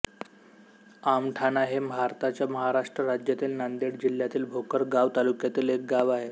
आमठाणा हे भारताच्या महाराष्ट्र राज्यातील नांदेड जिल्ह्यातील भोकर गाव तालुक्यातील एक गाव आहे